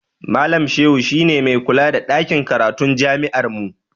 Malam Shehu shi ne mai kula da ɗakin karatun jami'armu.